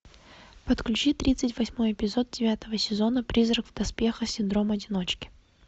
подключи тридцать восьмой эпизод девятого сезона призрак в доспехах синдром одиночки